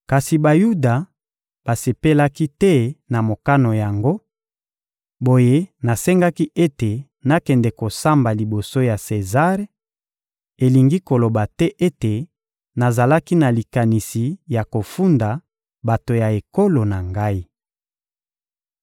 Kasi Bayuda basepelaki te na mokano yango; boye nasengaki ete nakende kosamba liboso ya Sezare; elingi koloba te ete nazalaki na likanisi ya kofunda bato ya ekolo na ngai.